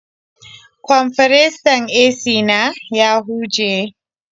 Kwamfuresan AC na ya huje.